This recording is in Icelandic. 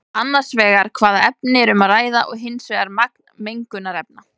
Annars vegar hvaða efni er um að ræða og hins vegar magni mengunarefna.